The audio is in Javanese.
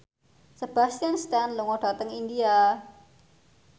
Sebastian Stan lunga dhateng India